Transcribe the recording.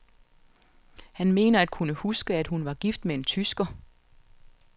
Han mener at kunne huske, at hun var gift med en tysker.